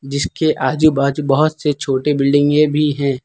जिसके आजू बाजू बहोत से छोटे बिल्डिंग ये भी हैं।